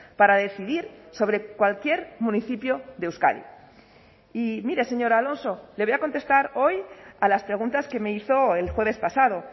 para decidir sobre cualquier municipio de euskadi y mire señor alonso le voy a contestar hoy a las preguntas que me hizo el jueves pasado